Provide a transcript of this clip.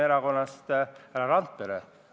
Esiteks, menetluslikud probleemid.